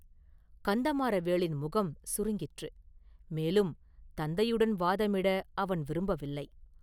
கந்தமாறவேளின் முகம் சுருங்கிற்று; மேலும் தந்தையுடன் வாதமிட அவன் விரும்பவில்லை.